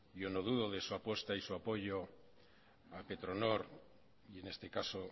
yo no dudo de su apuesta y su apoyo a petronor y en este caso